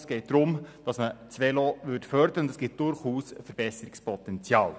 Es geht darum, das Velo zu fördern, und es gibt durchaus Verbesserungspotenzial.